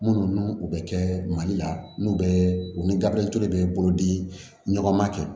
Munnu u bɛ kɛ mali la n'u bɛ u ni gabriyo de bɛ bolodi ɲɔgɔn ma